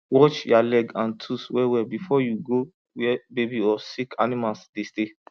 wash ya leg and tools well well before you go where baby or sick animals dey stay